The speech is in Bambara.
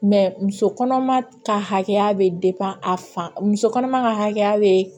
muso kɔnɔma ka hakɛya be a fan muso kɔnɔma ka hakɛya be